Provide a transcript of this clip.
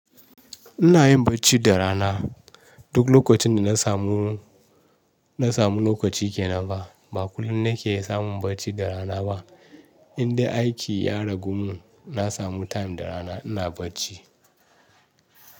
Ina yin bacci da rana. Duk lokacin da na samu, na samu lokaci ke nan ba. Ba kullum na ke samun bacci da rana ba. Indai aiki ya ragu mun, na samu time da rana ina bacci.